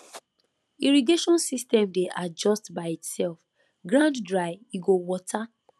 irrigation system dey adjust by itself ground dry e go water